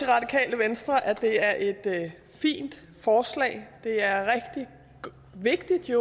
radikale venstre også at det er et fint forslag det er rigtig vigtigt